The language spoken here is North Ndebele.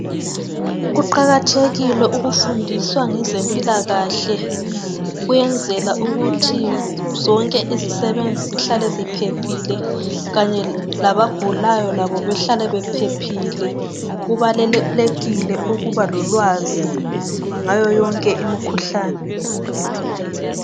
Kuqakathekile ukufundiswa ngezempilakahle ukuyenzela ukuthi zonke izisebenzi zihlale ziphephile kanye labagulayo labo behlale bephephile. Kubalulekile ukuba lolwazi ngayo yonke imikhuhlane.